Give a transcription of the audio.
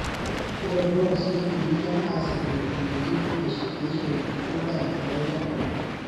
Ore drones keitumika asipu enetiu eishoi endaa wolchambai.